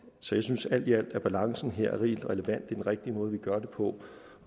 så jeg synes alt i alt at balancen her er helt relevant og den rigtige måde vi gør det på